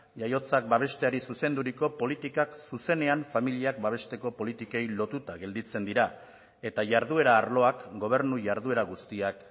jaiotzak babesteari zuzenduriko politikak zuzenean familiak babesteko politikei lotuta gelditzen dira eta jarduera arloak gobernu jarduera guztiak